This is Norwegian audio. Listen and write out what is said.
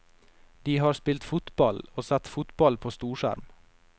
De har spilt fotball, og sett fotball på storskjerm.